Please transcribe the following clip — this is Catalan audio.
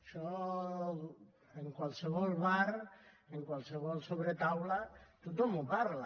això en qualsevol bar en qualsevol sobretaula tothom ho parla